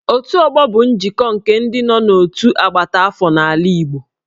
Otu ọgbọ bụ njikọ nke ndị nọ n'otu agbata afọ n'ala Igbo